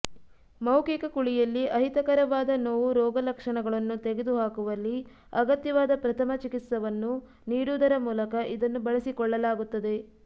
ಮೌಖಿಕ ಕುಳಿಯಲ್ಲಿ ಅಹಿತಕರವಾದ ನೋವು ರೋಗಲಕ್ಷಣಗಳನ್ನು ತೆಗೆದುಹಾಕುವಲ್ಲಿ ಅಗತ್ಯವಾದ ಪ್ರಥಮ ಚಿಕಿತ್ಸಾವನ್ನು ನೀಡುವುದರ ಮೂಲಕ ಇದನ್ನು ಬಳಸಿಕೊಳ್ಳಲಾಗುತ್ತದೆ